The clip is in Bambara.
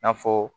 I n'a fɔ